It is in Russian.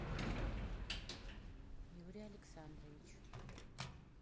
юрий александрович